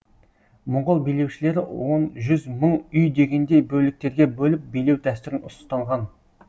моңғол билеушілері он жүз мың үй дегендей бөліктерге бөліп билеу дәстүрін ұстанған